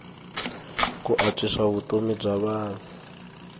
ku antswisa vutomi bya vanhu